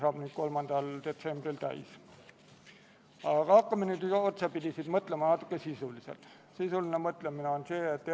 Oluline on mainida, et kavandatud kulu on ca 100 000 eurot, mis on aastal 2020 kaetud Kaitseministeeriumi valitsemisala eelarvest.